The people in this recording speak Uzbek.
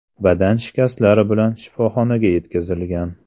badan shikastlari bilan shifoxonaga yetkazilgan.